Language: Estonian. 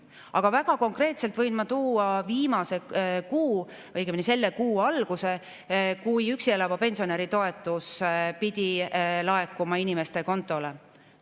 Aga väga konkreetselt võin ma tuua selle kuu alguse, kui üksi elava pensionäri toetus pidi laekuma inimeste kontodele.